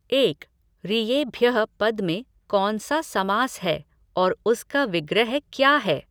एक। ऋयेभ्यः पद में कौन सा समास है और उसका विग्रह क्या है?